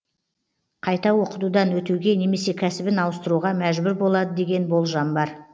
қайта оқытудан өтуге немесе кәсібін ауыстыруға мәжбүр болады деген болжам бар